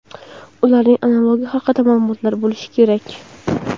ularning analogi haqida maʼlumotlar bo‘lishi kerak.